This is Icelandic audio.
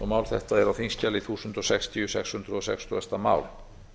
mál þetta er á þingskjali þúsund sextíu sex hundruð sextugasta mál